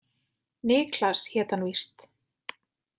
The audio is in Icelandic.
Niklas hét hann víst.